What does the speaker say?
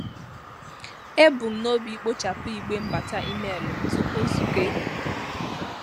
E bu m n'obi ikpochapụ igbe mbata email m tupu nzukọ ehihie.